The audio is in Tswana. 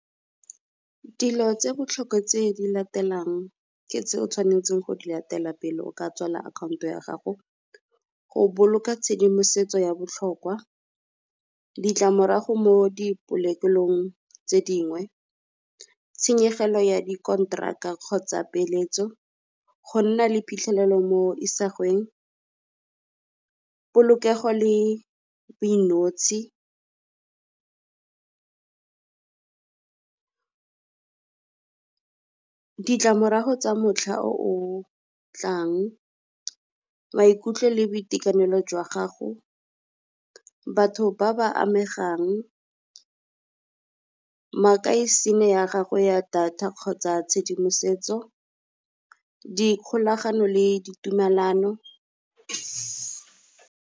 Dilo tse botlhokwa tse di latelang ke tse o tshwanetseng go di latela pele o ka tswala account-o ya gago. Go boloka tshedimosetso ya botlhokwa ditlamorago mo di polokelong tse dingwe, tshenyegelo ya di kontraka a kgotsa peeletso, go nna le phitlhelelo mo isagweng. Polokego le boinotshe ditlamorago tsa motlha o o tlang, maikutlo le boitekanelo jwa gago, batho ba ba amegang. Ya gagwe ya data kgotsa tshedimosetso, dikgolagano le ditumelano.